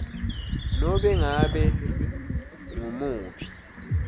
nobe ngabe ngumuphi